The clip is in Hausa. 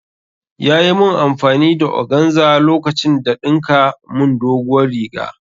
Yayi mun amfani da Oganza lokacin da ɗinka mun doguwar riga